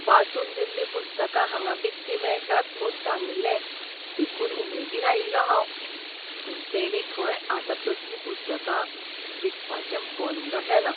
वाचून दिल्लीं पुस्तकां हांगां विकतीं मेळटात म्हूण सांगिल्लें देखून उमेदीन आयिल्लों हांव. पूण तेणीं खंय आतां तसलीं पुस्तकां विकपाचें बंद केलां.